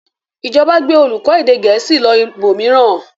Ìjọba gbé olùkọ́ èdè Gẹ̀ẹ́sì lọ ibòmíràn?